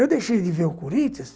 Eu deixei de ver o Corinthians,